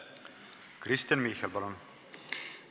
Kristen Michal, palun!